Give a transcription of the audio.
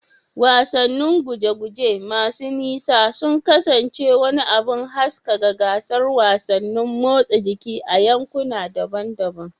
Wasannin guje-guje masu nisa sun kasance wani abin haskaka gasar wasannin motsa jiki a yankuna daban-daban.